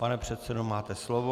Pane předsedo, máte slovo.